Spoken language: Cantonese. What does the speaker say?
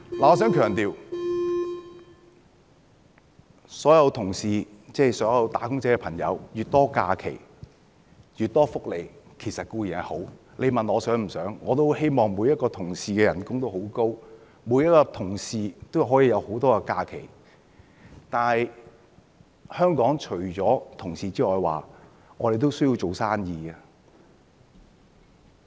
我想強調，所有"打工仔"有越多假期、越多福利固然是好，你問我想不想，我也很希望每個僱員的薪酬都很高，每個僱員都有很多假期，但是，香港除了僱員外，也需要做生意。